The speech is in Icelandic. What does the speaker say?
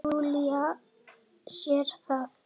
Júlía sér það.